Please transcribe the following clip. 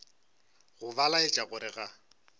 go ba laetša gore ga